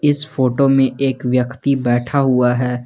इस फोटो में एक व्यक्ति बैठा हुआ है।